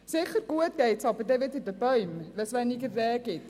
Sicher gut geht es dann handkehrum wieder den Bäumen, wenn es weniger Rehe gibt.